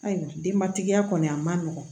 Ayiwa denbatigiya kɔni a ma nɔgɔn